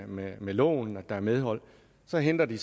med med loven og at der er medhold så henter de